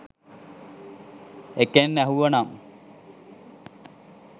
එකෙන් ඇහුව නම්.